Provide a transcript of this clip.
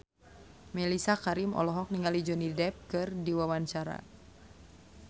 Mellisa Karim olohok ningali Johnny Depp keur diwawancara